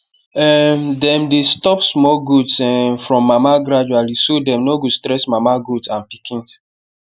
um them dey stop small goats um from mama gradually so dem no stress mama goat and pikins